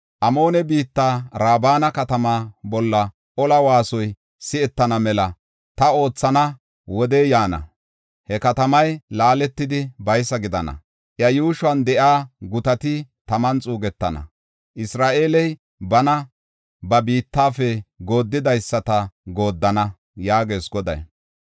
Amoone biittan Raaba katamaa bolla ola waasoy si7etana mela ta oothana wodey yaana. He katamay laaletidi baysa gidana. Iya yuushuwan de7iya gutati taman xuugetana. Isra7eeley bana ba biittafe gooddidaysata gooddana” yaagees Goday.